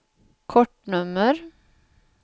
kortnummer